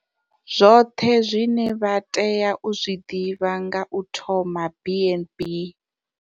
Zwoṱhe zwine vha tea u zwi ḓivha nga u thoma BnB.